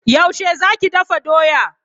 Yaushe zaki dafa doya?